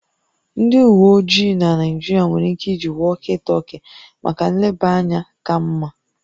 Ndị uwe ojii na Naịjirịa nwere ike iji walkie talkie maka nlebanya ka mma